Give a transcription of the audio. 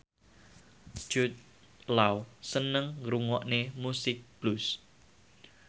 Jude Law seneng ngrungokne musik blues